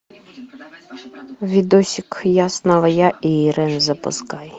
видосик я снова я и ирэн запускай